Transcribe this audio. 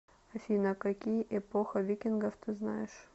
афина какие эпоха викингов ты знаешь